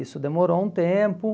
Isso demorou um tempo.